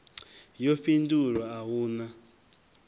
yo fhindulwa a hu na